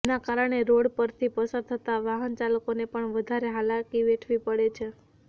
જેના કારણે રોડ પરથી પસાર થતાં વાહન ચાલકોને પણ ભારે હાલાકી વેઠવી પડે છે